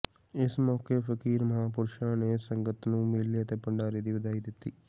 ਇਸ ਮੌਕੇ ਫਕੀਰ ਮਹਾਂਪੁਰਸ਼ਾ ਨੇ ਸੰਗਤ ਨੂੰ ਮੇਲੇ ਅਤੇ ਭੰਡਾਰੇ ਦੀ ਵਧਾਈ ਦਿੱਤੀ